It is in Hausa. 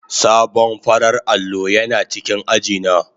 Sabon farar allo yana cikin aji na.